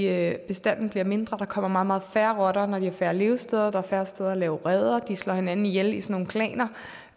at bestanden bliver mindre der kommer meget meget færre rotter når de har færre levesteder når der er færre steder at lave reder og de slår hinanden ihjel i sådan nogle klaner